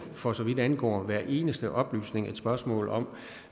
for så vidt angår hver eneste oplysning et spørgsmål om